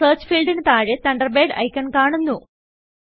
search fieldന് താഴെ Thunderbirdഐക്കൺ കാണുന്നു